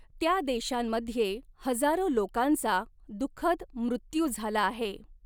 त्या देशांमध्ये हजारो लोकांचा दुखःद मृत्यू झाला आहे.